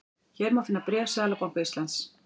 Hér má finna bréf Seðlabanka Íslands